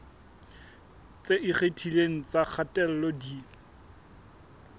tse ikgethileng tsa kgatello di